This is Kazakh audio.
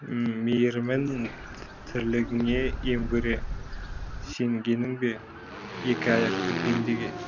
мейірімін тірлігіңе ем көре сенгенің бе екі аяқты пендеге